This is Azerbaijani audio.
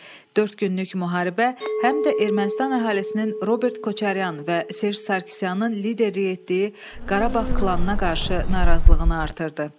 Dörd günlük müharibə həm də Ermənistan əhalisinin Robert Köçəryan və Serj Sarkisyanın liderlik etdiyi Qarabağ klanına qarşı narazılığını artırdı.